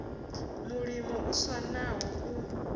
mulimo u swa na u